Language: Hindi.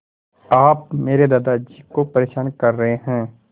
आप मेरे दादाजी को परेशान कर रहे हैं